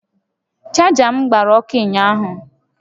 Chaja m gbara ọkụ ụnyaahụ